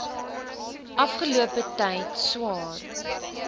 afgelope tyd swaar